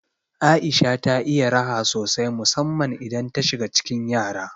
Aisha ta iya raha sosai musamman idan ta shiga cikin yara.